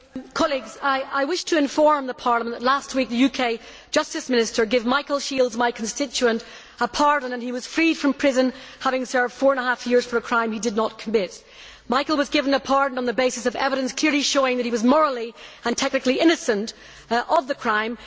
Mr President, I wish to inform Parliament that last week, the UK Justice Minister gave Michael Shields, my constituent, a pardon, and he was freed from prison having served four and a half years for a crime he did not commit. Michael was given a pardon on the basis of evidence clearly showing that he was morally and technically innocent of the crime.